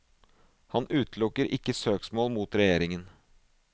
Han utelukker ikke søksmål mot regjeringen.